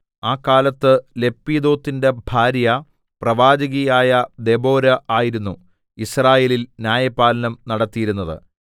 ആ കാലത്ത് ലപ്പീദോത്തിന്റെ ഭാര്യ പ്രവാചകിയായ ദെബോരാ ആയിരുന്നു യിസ്രായേലിൽ ന്യായപാലനം നടത്തിയിരുന്നത്